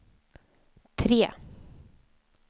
tre